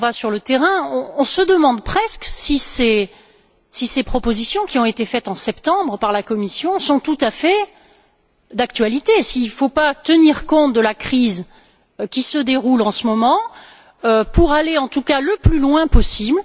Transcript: quand on va sur le terrain, on se demande presque si les propositions qui ont été faites en septembre par la Commission sont tout à fait d'actualité, s'il ne faut pas tenir compte de la crise qui se déroule en ce moment pour aller le plus loin possible.